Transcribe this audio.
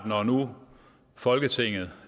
når nu folketinget